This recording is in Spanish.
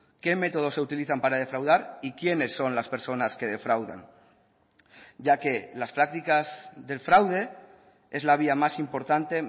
qué métodos se utilizan para defraudar y quiénes son las personas que defraudan ya que las prácticas del fraude es la vía más importante